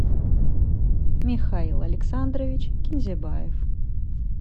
михаил александрович кинзебаев